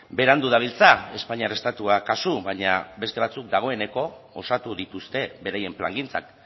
berandu dabiltza espainiar estatua kasu baina beste batzuk dagoeneko osatu dituzte beraien plangintzak